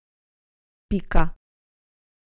Pika.